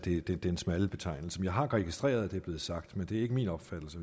i den smalle betegnelse jeg har registreret at det er blevet sagt men det er ikke min opfattelse